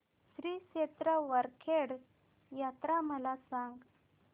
श्री क्षेत्र वरखेड यात्रा मला सांग